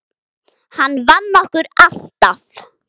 Hann vann okkur alltaf.